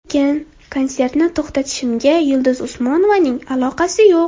Lekin konsertni to‘xtatishimga Yulduz Usmonovaning aloqasi yo‘q.